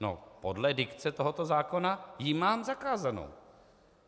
No podle dikce tohoto zákona ji mám zakázanou.